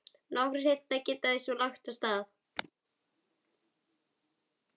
Nokkru seinna geta þau svo lagt af stað.